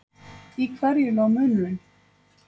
Í hverju lá munurinn?